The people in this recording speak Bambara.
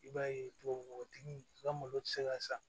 I b'a ye tubabu nɔgɔtigi ka malo ti se ka sa